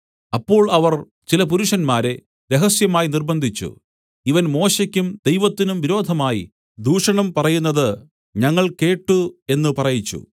അപ്പോൾ അവർ ചില പുരുഷന്മാരെ രഹസ്യമായി നിര്‍ബ്ബന്ധിച്ചു ഇവൻ മോശെക്കും ദൈവത്തിനും വിരോധമായി ദൂഷണം പറയുന്നത് ഞങ്ങൾ കേട്ട് എന്ന് പറയിച്ചു